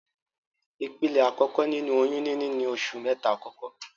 Ìpele àkọ́kọ́ nínu oyún níní ni oṣù mẹ́ta àkọ́kọ́.